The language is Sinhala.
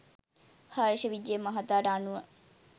හර්ෂ විජය මහතාට අනුව